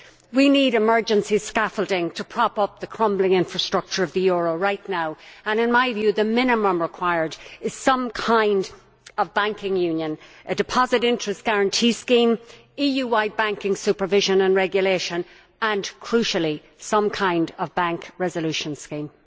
We need emergency scaffolding to prop up the crumbling infrastructure of the euro right now, and in my view the minimum required is some kind of banking union, a deposit interest guarantee scheme, EU wide banking supervision and regulation and, crucially, some kind of bank resolution scheme.